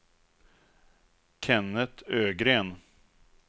Kennet Ögren